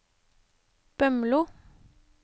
Bømlo